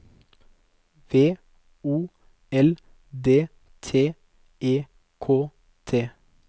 V O L D T E K T